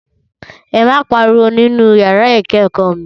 Ẹ má pariwo nínú yàrá ìkẹ́kọ̀ọ́ mi